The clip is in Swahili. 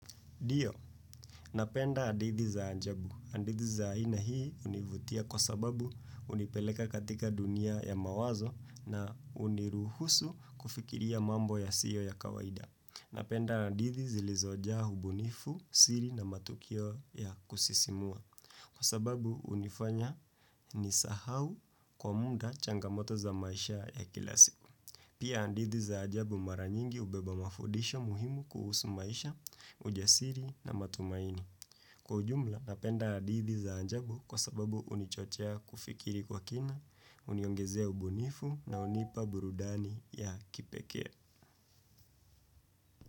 Dio, napenda adithi za ajabu. Andithi za aina hii univutia kwa sababu hunipeleka katika dunia ya mawazo na uniruhusu kufikiria mambo yasiyo ya kawaida. Napenda adithi zilizojaa hubunifu, siri na matukio ya kusisimua kwa sababu unifanya nisahau kwa muda changamoto za maisha ya kila siku. Pia andithi za ajabu mara nyingi ubeba mafudisho muhimu kuhusu maisha, ujasiri na matumaini. Kwa ujumla napenda andithi za ajabu kwa sababu unichochea kufikiri kwa kina, uniongezea ubunifu na unipa burudani ya kipekee.